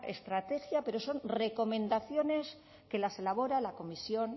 estrategia pero son recomendaciones que las elabora la comisión